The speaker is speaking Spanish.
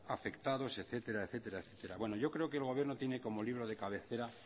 afectados etcétera etcétera etcétera bueno yo creo que el gobierno tiene como libro de cabecera